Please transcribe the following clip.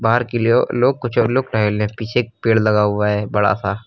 बाहर की लो लोग कुछ और लोग टहल रहे हैं पीछे एक पेड़ लगा हुआ है बड़ा सा।